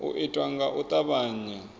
u itwa nga u tavhanya